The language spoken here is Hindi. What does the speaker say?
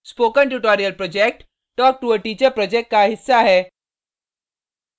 spoken tutorial project talktoa teacher project का हिस्सा है